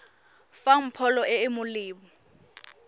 fang pholo e e molemo